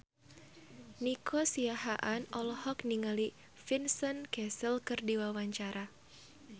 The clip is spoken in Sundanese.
Nico Siahaan olohok ningali Vincent Cassel keur diwawancara